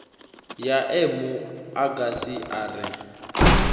ya emu agasi a re